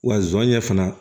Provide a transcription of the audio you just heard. Wa zonɲɛ fana